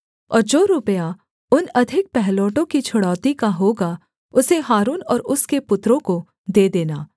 और जो रुपया उन अधिक पहिलौठों की छुड़ौती का होगा उसे हारून और उसके पुत्रों को दे देना